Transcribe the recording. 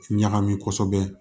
Ɲagami kosɛbɛ